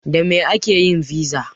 Da me ake yin fiza?